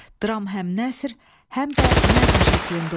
Dram həm nəsr, həm də nəzm şəklində olur.